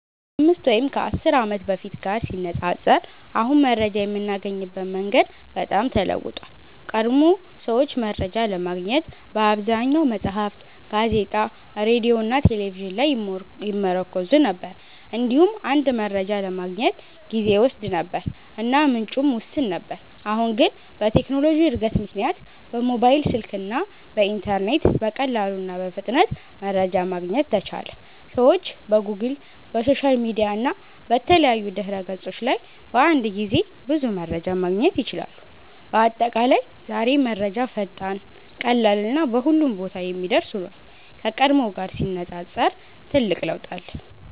ከ5 ወይም 10 ዓመት በፊት ጋር ሲነፃፀር አሁን መረጃ የምናገኝበት መንገድ በጣም ተለውጧል። ቀድሞ ሰዎች መረጃ ለማግኘት በአብዛኛው መጽሐፍት፣ ጋዜጣ፣ ሬዲዮ እና ቴሌቪዥን ላይ ይመርኩዙ ነበር። እንዲሁም አንድ መረጃ ለማግኘት ጊዜ ይወስድ ነበር እና ምንጩም ውስን ነበር። አሁን ግን በቴክኖሎጂ እድገት ምክንያት በሞባይል ስልክ እና በኢንተርኔት በቀላሉ እና በፍጥነት መረጃ ማግኘት ተቻለ። ሰዎች በጎግል፣ በሶሻል ሚዲያ እና በተለያዩ ድህረ ገጾች ላይ በአንድ ጊዜ ብዙ መረጃ ማግኘት ይችላሉ። በአጠቃላይ ዛሬ መረጃ ፈጣን፣ ቀላል እና በሁሉም ቦታ የሚደርስ ሆኗል፤ ከቀድሞው ጊዜ ጋር ሲነፃፀር ትልቅ ለውጥ አለ።